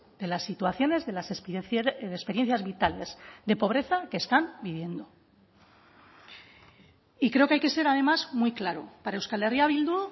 de las situaciones de las experiencias vitales de pobreza que están viviendo y creo que hay que ser además muy claro para euskal herria bildu